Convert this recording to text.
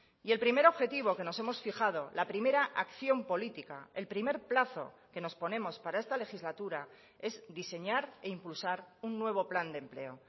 y el primer objetivo que nos hemos fijado la primera acción política el primer plazo que nos ponemos para esta legislatura es diseñar e impulsar un nuevo plan de empleo